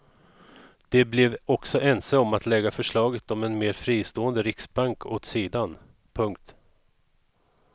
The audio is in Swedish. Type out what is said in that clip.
De blev också ense om att lägga förslaget om en mer fristående riksbank åt sidan. punkt